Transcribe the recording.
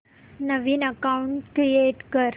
नवीन account create कर